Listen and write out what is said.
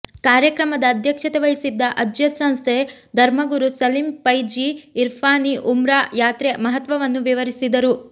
ಕಾರ್ಯಕ್ರಮದ ಅಧ್ಯಕ್ಷತೆ ವಹಿಸಿದ್ದ ಅಜ್ಯದ್ ಸಂಸ್ಥೆ ಧರ್ಮಗುರು ಸಲೀಂ ಪೈಝಿ ಇರ್ಫಾನಿ ಉಮ್ರಾ ಯಾತ್ರೆ ಮಹತ್ವವನ್ನು ವಿವರಿಸಿದರು